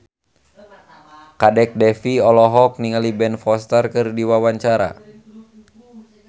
Kadek Devi olohok ningali Ben Foster keur diwawancara